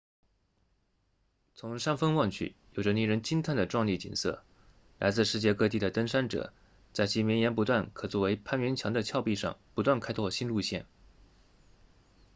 从山峰望去有着令人惊叹的壮丽景色来自世界各地的登山者在其绵延不断可作为攀援墙的峭壁上不断开拓新路线